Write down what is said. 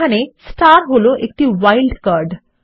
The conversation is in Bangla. এখানে হল একটি ওয়াইল্ড কার্ড